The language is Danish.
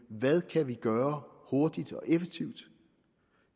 hvad kan vi gøre hurtigt og effektivt